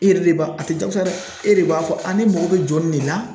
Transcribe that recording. E yɛrɛ de b'a, a te diyagosa dɛ. E de b'a fɔ ne mako bɛ jɔ nin de la .